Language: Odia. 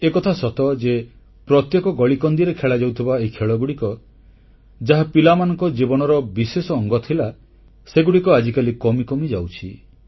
ଏକଥା ସତ ଯେ ପ୍ରତ୍ୟେକ ଗଳିକନ୍ଦିରେ ଖେଳାଯାଉଥିବା ଏହି ଖେଳଗୁଡ଼ିକ ଯାହା ପିଲାମାନଙ୍କ ଜୀବନର ବିଶେଷ ଅଙ୍ଗ ଥିଲା ସେଗୁଡ଼ିକ ଆଜିକାଲି କମି କମି ଯାଉଛି